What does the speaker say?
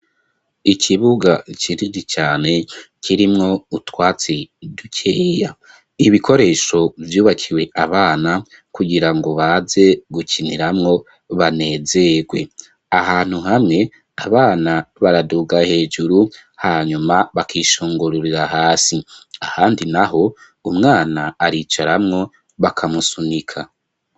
Ikibuga kinini cane kirimwo utwatsi dukeya, ibikoresho bvyubakiwe abana kugirango baze gukiniramwo banezerwe; ahantu hamwe abana baraduga hejuru hanyuma bakishungururira hasi. Ahandi naho umwana aricaramwo bakamusunika.